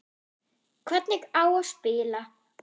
Hvernig á að spila?